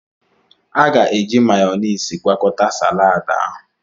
A ga-eji Mayoniisi gwakọta saladi ahụ.